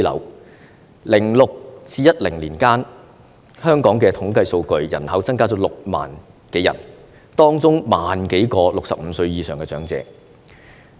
2006年至2010年間，香港的統計數據，人口增加了6萬多人，當中1萬多名是65歲以上的長者。